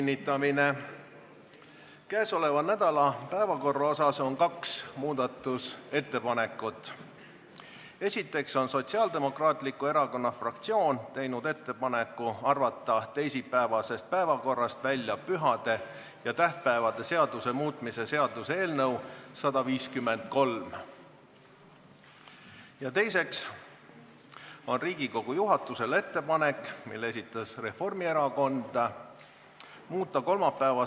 Informeerin EKRE fraktsiooni nimel, et meie kolmapäevase istungi päevakorra muutmist vajalikuks ei pea ja seda ei toeta.